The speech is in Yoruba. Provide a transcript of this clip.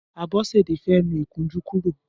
Abosede fè nù ikùnjù kùró